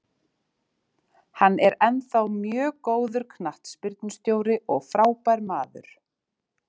Hann er ennþá mjög góður knattspyrnustjóri og frábær maður